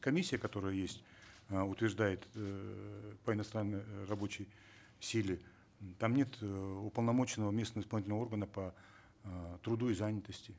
комиссия которая есть э утверждает эээ по иностранной рабочей силе там нет э уполномоченного местного исполнительного органа по э труду и занятости